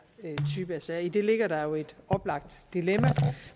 type af sager i det ligger der jo et oplagt dilemma